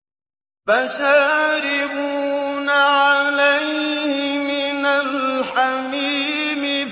فَشَارِبُونَ عَلَيْهِ مِنَ الْحَمِيمِ